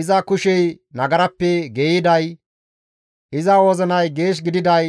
Iza kushey nagarappe geeyiday, iza wozinay geeshsha gididay,